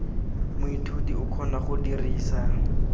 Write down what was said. moithuti o kgona go dirisa